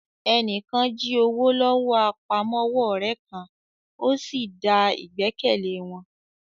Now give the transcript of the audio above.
Ẹni kan jí owó lọ́wọ́ àpamọ́wọ́ ọ̀rẹ́ kan, ó sì da ìgbẹ́kẹ̀lé wọn